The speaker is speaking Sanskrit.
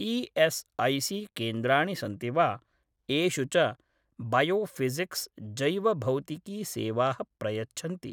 ई एस ऐ सी केन्द्राणि सन्ति वा येषु च बायोफिसिक्स् जैवभौतिकी सेवाः प्रयच्छन्ति